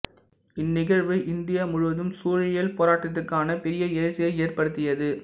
இந்நிகழ்வு இந்தியா முழுவதும் சூழியல் போராட்டத்திற்கான பெரிய எழுச்சியை ஏற்படுத்தியது